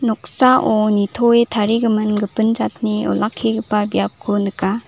noksao nitoe tarigimin gipin jatni olakkigipa biapko nika.